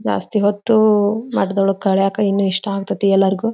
ಜಾಸ್ತಿ ಹೊತ್ತು ನಾಟದೊಳಗ ಕಲಿಯಕ್ ಇನ್ ಇಷ್ಟ ಆಗತ್ಯ ತಿ ಎಲ್ಲಾರಗೂ.